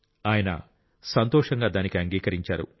ఆయన సంతోషంగా దానికి అంగీకరించారు